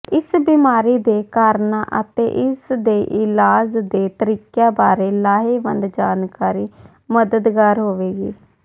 ਇਸ ਬਿਮਾਰੀ ਦੇ ਕਾਰਨਾਂ ਅਤੇ ਇਸਦੇ ਇਲਾਜ ਦੇ ਤਰੀਕਿਆਂ ਬਾਰੇ ਲਾਹੇਵੰਦ ਜਾਣਕਾਰੀ ਮਦਦਗਾਰ ਹੋਵੇਗੀ